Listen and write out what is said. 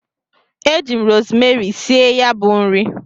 Eji m rosmeri sie ya bu nri.